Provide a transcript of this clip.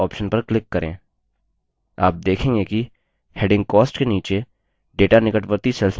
आप देखेंगे कि heading cost के नीचे data निकटवर्ती cells में copied हो गया है